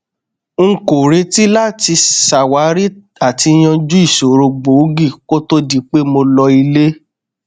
n kò retí láti ṣàwárí àti yanjú ìṣòro gbòógì kó to di pé mo lọ ilé